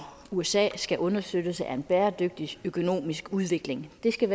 usa skal understøttes af en bæredygtig økonomisk udvikling det skal